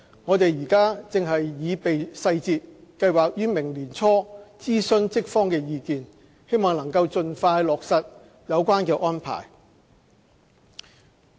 我們正擬備細節，計劃於明年年初諮詢職方意見，希望能盡快落實有關安排。